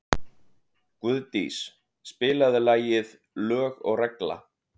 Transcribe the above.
Guðdís, spilaðu lagið „Lög og regla“.